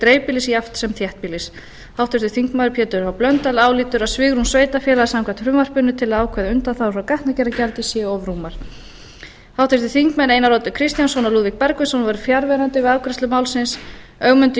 dreifbýlis jafnt sem þéttbýlis háttvirtur þingmaður pétur h blöndal álítur að svigrúm sveitarfélaga samkvæmt frumvarpinu til að ákveða undanþágu frá gatnagerðargjaldi séu of rúmar háttvirtur þingmaður einar oddur kristjánsson og lúðvík bergvinsson voru fjarverandi við afgreiðslu málsins ögmundur